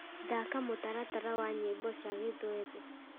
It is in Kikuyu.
thaaka mutaratara wa nyĩmbo cia gĩthweri